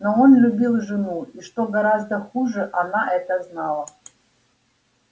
но он любил жену и что гораздо хуже она это знала